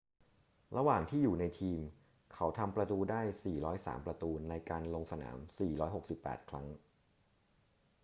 ระหว่างที่อยู่ในทีม เขาทำประตูได้ 403 ประตูในการลงสนาม 468 ครั้ง